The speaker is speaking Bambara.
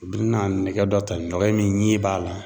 U bi na nɛgɛ dɔ ta, nɛgɛ min ɲɛ b'a la.